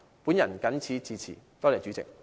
我謹此陳辭，多謝代理主席。